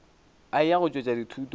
a eya go tšwetša dithuto